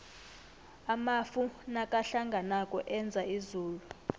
amafu nakahlanganako enza izulu